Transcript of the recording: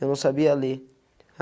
Eu não sabia ler.